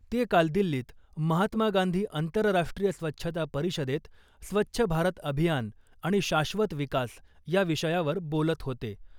ते काल दिल्लीत महात्मा गांधी आंतरराष्ट्रीय स्वच्छता परिषदेत ' स्वच्छ भारत अभियान आणि शाश्वत विकास ' या विषयावर बोलत होते .